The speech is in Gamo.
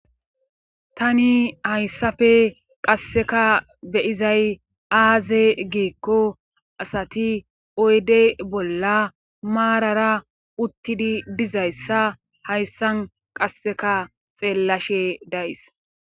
tani hayssafe qasseka beyizay aaze giikko asati oyde bolla maarara uttidi dizayssa hayssan qasseka xeellashe days